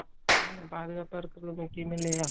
உம் பாதுகாப்பா இருக்கறது முக்கியம் இல்லையா